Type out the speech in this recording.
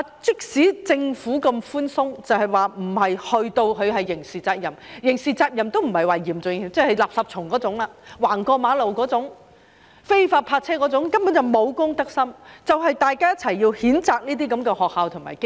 即使政府那麼寬鬆，並沒有訂為刑事責任，即使是刑事責任都不是嚴重的，只好像"垃圾蟲"、亂過馬路、非法泊車那種，這根本是沒有公德心，大家正正要一起譴責這些學校和機構。